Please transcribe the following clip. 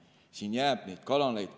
Seega jääb muidki kanaleid.